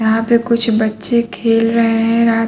यहाँ पै कुछ बच्चे खेल रहे हैं रात --